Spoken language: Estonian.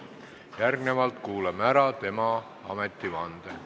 Järgnevalt kuulame ära tema ametivande.